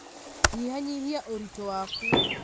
Nyihanyihia ũritũ waku